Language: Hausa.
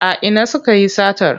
A ina sukayi satar?